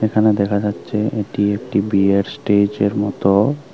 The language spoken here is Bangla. এখানে দেখা যাচ্ছে এটি একটি বিয়ের স্টেজ এর মতো।